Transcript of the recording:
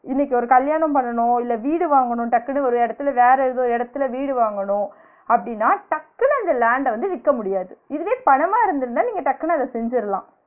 இன்னிக்கு ஒரு கல்யாணம் பண்ணணும் இல்ல வீடு வாங்கனும் டக்குனு ஒரு எடத்துல வேற ஏதோ எடத்துல வீடு வாங்கனும் அப்டின்னா டக்குனு அந்த land அ வந்து விக்க முடியாது இதுவே பணமா இருந்திருந்தா நீங்க டக்குனு அத செஞ்சிரலாம்